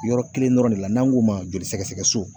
Yɔrɔ kelen dɔrɔn de la n'an k'o ma joli sɛgɛsɛgɛ so